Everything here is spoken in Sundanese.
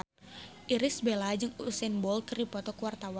Irish Bella jeung Usain Bolt keur dipoto ku wartawan